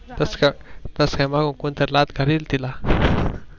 तस काय माग कोणी तरी लात घालीन तिला